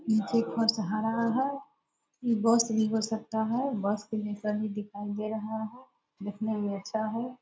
नीचे एक बस आ रहा है बस नहीं हो सकता है बस के दिशा में दिखाई दे रहा हैं दिखने में अच्छा है ।